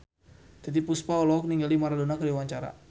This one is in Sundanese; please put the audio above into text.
Titiek Puspa olohok ningali Maradona keur diwawancara